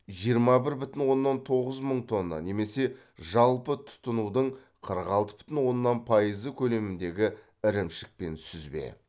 жиырма бір бүтін оннан тоғыз мың тонна немесе жалпы тұтынудың қырық алты бүтін оннан пайызы көлеміндегі ірімшік пен сүзбе